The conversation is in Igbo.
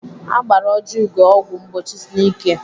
Agbara Ojiugo ọgwụ mgbochi n'ike.